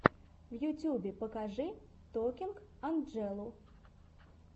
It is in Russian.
в ютубе покажи токинг анджелу